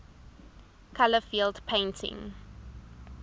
color field painting